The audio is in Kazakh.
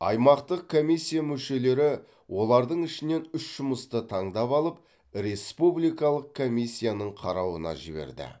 аймақтық комиссия мүшелері олардың ішінен үш жұмысты таңдап алып республикалық комиссияның қарауына жіберді